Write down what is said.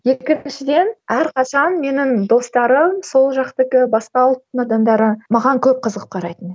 екіншіден әрқашан менің достарым сол жақтікі басқа ұлттың адамдары маған көп қызығып қарайтын